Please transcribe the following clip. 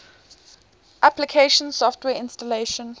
application software installation